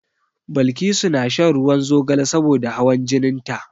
Balkisu na shan ruwan zogale saboda hawan jinin ta.